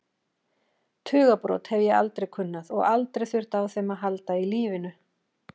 Tugabrot hef ég aldrei kunnað og aldrei þurft á þeim að halda í lífinu.